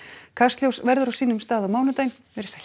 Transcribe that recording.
kastljós verður á sínum stað á mánudaginn verið sæl